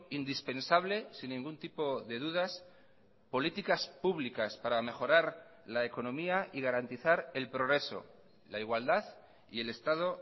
indispensables sin ningún tipo de dudas políticas públicas para mejorar la economía y garantizar el progreso la igualdad y el estado